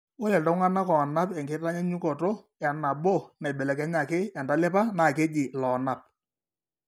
Ore iltung'anak oonap enkitanyaanyukoto enabo naibelekenyaki entalipa naa keji iloonap.